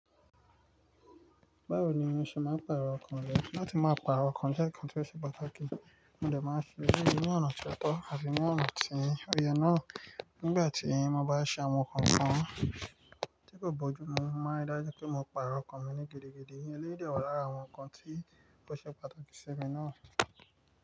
Báwo ni mo ṣe máa ń pàrọ̀ nǹkan lọ? Láti máa pàrọ̀ nǹkan jẹ́ nǹkan tí ó ṣe pàtàkì. Mo lè máa fi èyí ní ọ̀nà tó tọ́ àti ní ọ̀nà tí ó yẹ náà. Nígbà tí mo bá ṣe àwọn nǹkan kan tí kò bójú mú, mo máa ń ríi dájú pé mo pàrọ̀ ọkàn mi ní gidigidi. Eléyìí dẹ̀ wà lára àwọn nǹkan tí ó ṣe pàtàkì sí mi náà.